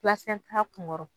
kun ŋɔrɔ